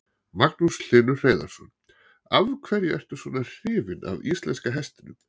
Magnús Hlynur Hreiðarsson: Af hverju ertu svona hrifin að íslenska hestinum?